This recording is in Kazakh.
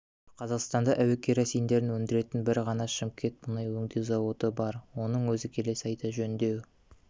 қазақстанда әуекеросиндерді өндіретін бір ғана шымкент мұнай өңдеу заводы бар оның өзі келесі айда жөндеу